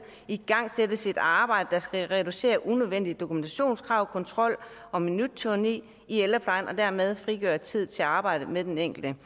igangsættes et arbejde der skal reducere unødvendige dokumentationskrav kontrol og minuttyranni i ældreplejen og dermed frigøre tid til arbejdet med den enkelte